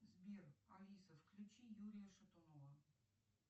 сбер алиса включи юрия шатунова